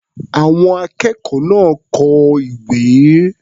Àwọn akẹ́kọ̀ọ́ náà kọ ìwé.